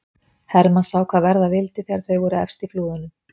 Hermann sá hvað verða vildi þegar þau voru efst í flúðunum.